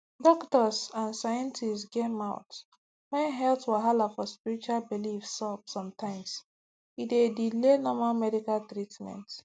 doktors and scientists get mouth when health wahala for spiritual beliefs sup sometimes e dey delay normal medical treatment